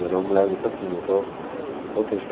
Ela era uma mulher muito assim, muito, muito autêntica.